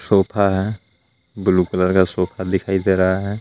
Sofa है blue colour का sofa दिखाई दे रहा है।